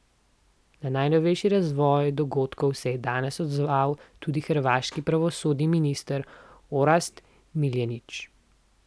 Na najnovejši razvoj dogodkov se je danes odzval tudi hrvaški pravosodni minister Orsat Miljenić.